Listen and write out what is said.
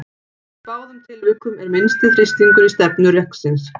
Í báðum tilvikum er minnsti þrýstingur í stefnu reksins.